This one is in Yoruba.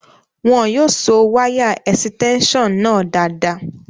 Wọn yóò so wáyà ẹ̀sítẹ́únsàn náà dáadáa